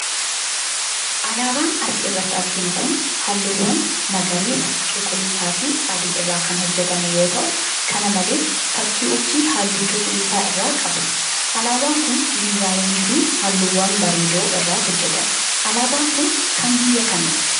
Alaabaan as irratti arginu kun, haalluuwwan magariisa, cuquliisa fi adii irraa kan hojjatame yoo ta'u kana malees fakkii urjii haalluu cuquliisa irraa qaba. Alaabaan kun, diizaayinii fi haalluuwwan bareedoo irraa hojjatame. Alaabaan kun, kan biyya kamiiti?